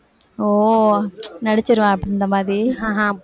ஓ நடிச்சிருவா அந்த மாதிரி